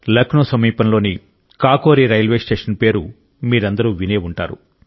లక్నో సమీపంలోని Kakori railway station పేరు మీరందరూ విని ఉంటారు